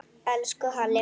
Elsku Halli minn.